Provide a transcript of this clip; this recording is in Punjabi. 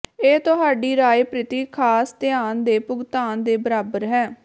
ਇਹ ਤੁਹਾਡੀ ਰਾਏ ਪ੍ਰਤੀ ਖਾਸ ਧਿਆਨ ਦੇ ਭੁਗਤਾਨ ਦੇ ਬਰਾਬਰ ਹੈ